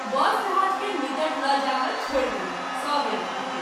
बस जहाज़ के निकट ल’ जा क’ छोड़ि देलक सभ यात्री के।